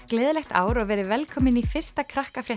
gleðilegt ár og verið velkomin í fyrsta